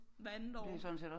Hvert andet år